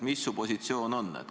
Mis su positsioon on?